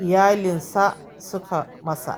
iyalinsa suka masa.